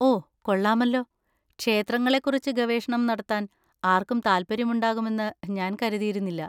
ഓ കൊള്ളാമല്ലോ, ക്ഷേത്രങ്ങളെക്കുറിച്ച് ഗവേഷണം നടത്താൻ ആർക്കും താൽപ്പര്യമുണ്ടാകുമെന്ന് ഞാൻ കരുതിയിരുന്നില്ല.